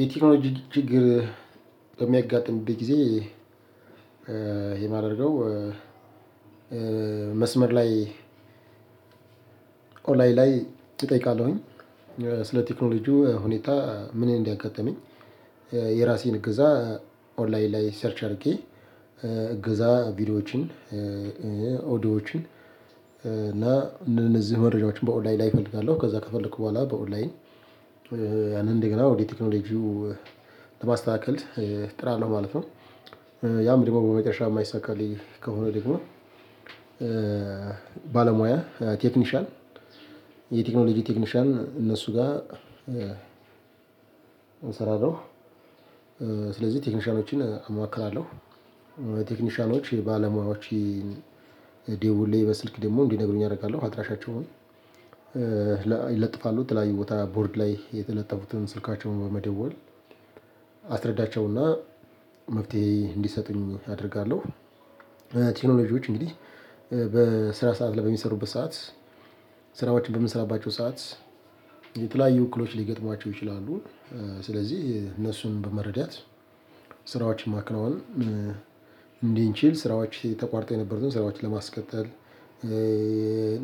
የቴክኖሎጂ ችግር በሚያጋጥምብኝ ጊዜ የማድረገው መስመር ላይ ኦንላይን ላይ እጠይቃለሁኝ ስለ ቴክኖሎጂው ሁኔታ ምን እንዳያጋጠመኝ። የራሴን እገዛ ኦንላይን ላይ ሰርች አድርጌ እገዛ ቪዲዮዎችን ኦዲዮዎችን እና እነዚህ መረጃዎችን በኦንላይን ላይ እፈልጋለሁ ከዛ ከፈለኩ በኋላ በኦንላይን ያንን እንደገና ወደ ቴክኖሎጂው ለማስተካከል ጥራለሁ ማለት ነው። ያም ደግሞ በመጨረሻ የማይሳካልኝ ከሆነ ደግሞ ባለሙያ ቴክኒሻን የቴክኖሎጂ ቴክኒሻን እነሱ ጋር እሰራለው። ስለዚህ ቴክኒሻኖችን አማክራለሁ። ቴክኒሻኖች ባለሙያዎች ደውሌ በስልክ ደግሞ እንዲነግሩኝ አደርጋለሁ አድራሻቸውን ይለጥፋሉ የተለያዩ ቦታ ቦርድ ላይ የተለጠፉትን ስልካቸውን በመደወል አስረዳቸውና መፍትሄ እንዲሰጡኝ አደርጋለሁ። ቴክኖሎጂዎች እንግዲህ በስራ ሰዓት ላይ በሚሰሩበት ሰዓት ስራዎችን በምንሰራባቸው ሰዓት የተለያየ እክሎች ሊገጥማቸው ይችላሉ። ስለዚህ እነሱን በመረዳት ስራዎችን ማከናውን እንድንችል ስራዎች ተቋውርጠው የነበሩትን ስራዎችን ለማስቀጠል።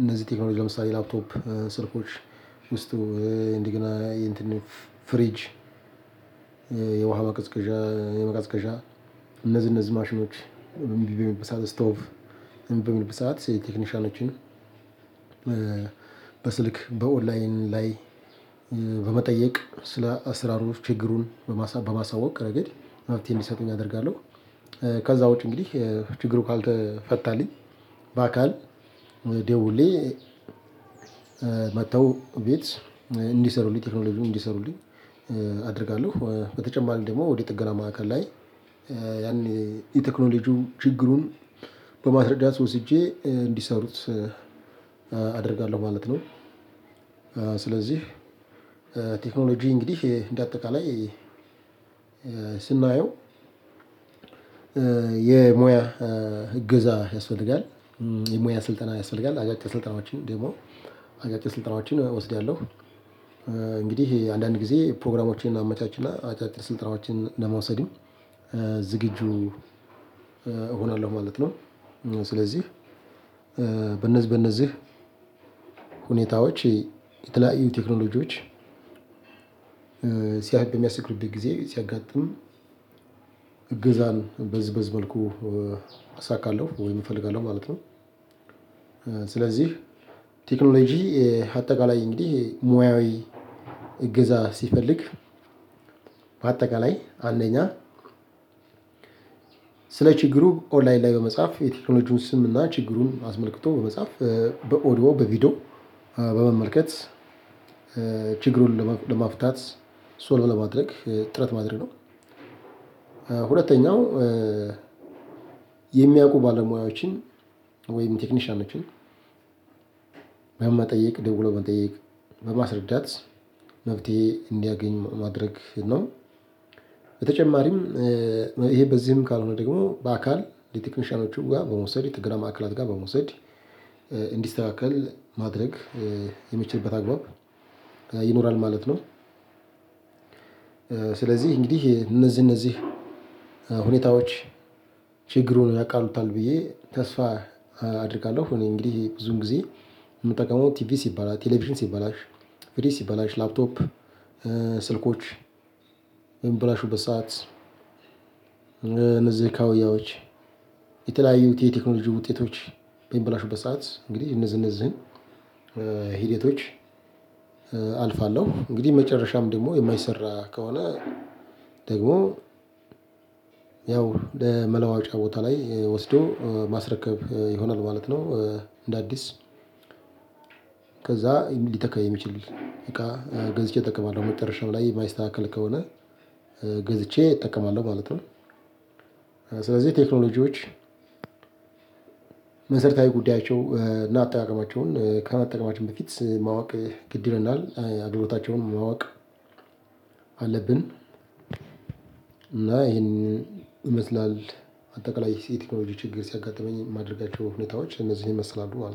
እነዚህ ቴክኖሎጂ ለምሳሌ ላፕቶፕ ስልኮች ውስጡ እንዲገና የእንትን ፍሪጅ የውሃ ማቀዝቀዣ የመቀዝቀዣ እነዚህ እነዚህ ማሽኖች እምቢ በሚሉበት ሰዓት ስቶቭ እምቢ በሚልበት ሰዓት ቴክኒሻኖችን በስልክ በኦንላይን ላይ በመጠየቅ ስለ አስራሩ ችግሩን በማሳወቅ ረገድ መፍትሄ እንዲሰጡኝ አደርጋለሁ። ከዛ ውጪ እንግዲህ ችግሩ ካልተፈታልኝ በአካል ደውሌ መጥተው ቤት እንዲሰሩልኝ ቴክኖሎጂውን እንዲሰሩልኝ አደርጋለሁ። በተጨማሪ ደግሞ ወደ ጥገና ማዕከል ላይ ያን የቴክኖሎጂው ችግሩን በማስረዳት ወስጄ እንዲሰሩት አደርጋለሁ ማለት ነው። ስለዚህ ቴክኖሎጂ እንግዲህ እንደ አጠቃላይ ስናየው የሙያ እገዛ ያስፈልጋል። የሙያ ስልጠና ያስፈልጋል አጫጭር ስልጠናዎችን ደግሞ አጫጭር ስልጠናዎችን እወስዳለሁ። እንግዲህ አንዳንድ ጊዜ ፕሮግራሞችን አመቻች እና አጫጭር ስልጠናዎችን ለመውሰድ ዝግጁ እሆናለሁ ማለት ነው። ስለዚህ በነዚህ በነዚህ ሁኔታዎች የተለያዩ ቴክኖሎጂዎች ሲያገኙ የሚያስቅርብኝ ጊዜ ሲያጋጥሙ ሲያጋጥም እገዛን በዝበዚ መልኩ አሳካለሁ ወይም እፈልጋለሁ ማለት ነው። ስለዚህ ቴክኖሎጂ አጠቃላይ እንዲህ ሙያዊ እግዛ ሲፈልግ በአጠቃላይ አንደኛ ስለ ችግሩ ኦንላይን ላይ በመጻፍ የቴክኖሎጂውን ስም እና ችግሩን አስመልክቶ በመጻፍ በኦድዮ በቪዲዮ በመመልከት ችግሩን ለማፍታት ሶልቭ ለማድረግ ጥረት ማድረግ ነው። ሁለተኛው የሚያውቁ ባለሙያዎችን ወይም ቴክኒሻኖችን በመጠየቅ ደውሎ መጠየቅ በማስረዳት መፍትሄ እንዲያገኝ ማድረግ ነው። በተጨማሪም ይሄ በዚህም ካልሆነ ደግሞ በአካል ቴክኒሻኖች ጋር በመውሰድ ጥገና ማዕከላት ጋር በመውሰድ እንዲስተካከል ማድረግ የሚችልበት አግባብ ይኖራል ማለት ነው። ስለዚህ እንግዲህ እነዚህ እነዚህ ሁኔታዎች ችግሩን ያቃሉታል ብዬ ተስፋ አደርጋለሁ። እኔ እንግዲህ ብዙን ጊዜ ምጠቀመው ትቪስ ይባላል ቴሌቪዥን ሲበላሽ ላፕቶፕ ስልኮች በሚበላሹበት ሰዓት እነዚህ ካውያዎች የተለያዩ የቴክኖሎጂ ውጤቶች በሚበላሹበት ሰዓት እንግዲህ እነዚህ እነዚህን ሂደቶች አልፋለሁ እንግዲህ መጨረሻም ደግሞ የማይሰራ ከሆነ ደግሞ ያው ለመለዋጫ ቦታ ላይ ወስዶ ማስረከብ ይሆናል ማለት ነው። እንደ አዲስ ከዛ ሊተካ የሚችል እቃ ገዝቼ እጠቀማለሁ መጨረሻው ላይ የማይስተካከል ከሆነ ገዝቼ እጠቀማለሁ ማለት ነው። ስለዚህ ቴክኖሎጂዎች መሰረታዊ ጉዳያቸውን እና አጠቃቀማቸውን ከመጠቀማችን በፊት ማወቅ ግድ ይለናል አገልግሎታቸውን ማወቅ አለብን። እና ይሄንን ይመስላል አጠቃላይ የቴክኖሎጂ ችግር ሲያጋጥመኝ የማደርጋቸው ሁኔታዎች እነዚህን ይመስላሉ ማለት ነው